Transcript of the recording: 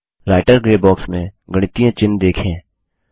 writer grey box में गणितीय चिन्ह देखें